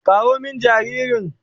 Kawo min jaririn.